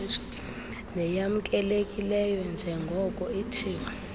neyamkelekileyo njrngoko ithiwa